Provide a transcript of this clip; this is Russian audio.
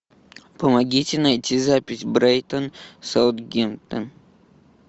помогите найти запись брайтон саутгемптон